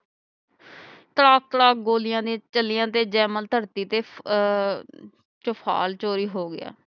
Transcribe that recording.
ਤੜਾਕ ਤੜਾਕ ਗੋਲੀਆਂ ਜੇ ਚਲੀਆਂ ਤੇ ਜੈਮਲ ਧਰਤੀ ਤੇ ਅਹ ਹੋ ਗਿਆ